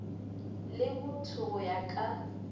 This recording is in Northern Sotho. le botho go ya ka